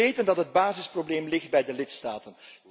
We weten dat het basisprobleem ligt bij de lidstaten.